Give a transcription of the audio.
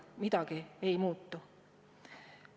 Midagi ei muutu!